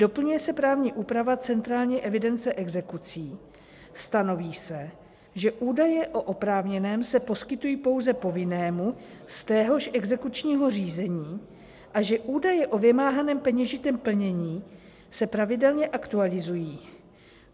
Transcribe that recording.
Doplňuje se právní úprava centrální evidence exekucí, stanoví se, že údaje o oprávněném se poskytují pouze povinnému z téhož exekučního řízení a že údaje o vymáhaném peněžitém plnění se pravidelně aktualizují.